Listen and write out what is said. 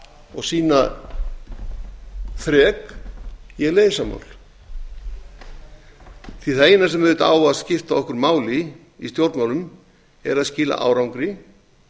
og sýna þrek í að leysa mál það eina sem á að skipta okkur máli í stjórnmálum er að skila árangri